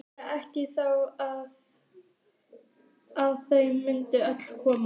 Vissi ekki þá að þau mundu öll koma.